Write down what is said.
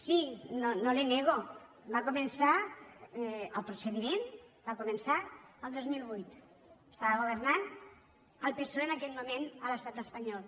sí no li ho nego va començar el procediment va començar el dos mil vuit estava governant el psoe en aquell moment a l’estat espanyol